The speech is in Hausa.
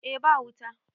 eh ba wuta